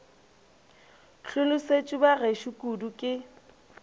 hlolosetšwe ba gešo kudu ke